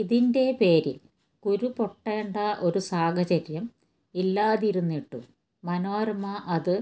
ഇതിന്റെ പേരിൽ കുരു പൊടേണ്ട ഒരു സാഹചര്യം ഇല്ലാതിരുന്നിട്ടും മനോരമ അതു